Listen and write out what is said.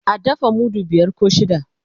a dafa mudu biyar koh shida